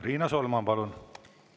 Riina Solman, palun!